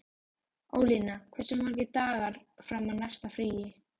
Ólína, hversu margir dagar fram að næsta fríi?